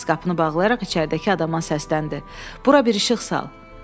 Sykes qapını bağlayaraq içəridəki adama səsləndi: Bura bir işıq sal!